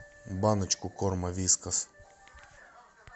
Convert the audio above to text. баночку корма вискас